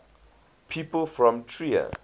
people from trier